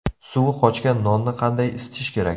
Suvi qochgan nonni qanday isitish kerak?